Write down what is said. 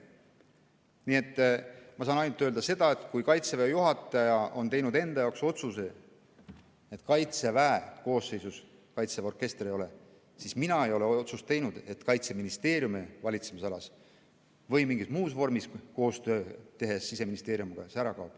Nii et ma saan ainult öelda, et kui Kaitseväe juhataja on teinud enda jaoks otsuse, et Kaitseväe koosseisus Kaitseväe orkestrit ei ole, siis mina ei ole teinud otsust, et Kaitseministeeriumi valitsemisalas või mingis muus vormis Siseministeeriumiga koostööd tehes see ära kaob.